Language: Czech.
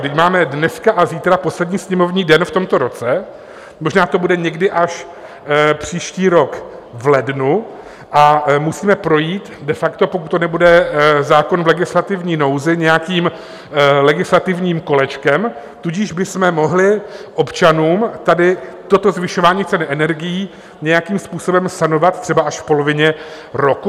Vždyť máme dneska a zítra poslední sněmovní den v tomto roce, možná to bude někdy až příští rok v lednu, a musíme projít de facto, pokud to nebude zákon v legislativní nouzi, nějakým legislativním kolečkem, tudíž bychom mohli občanům tady toto zvyšování cen energií nějakým způsobem sanovat třeba až v polovině roku.